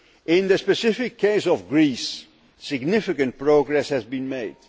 In the specific case of Greece, significant progress has been made.